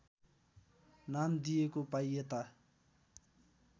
नाम दिएको पाइएता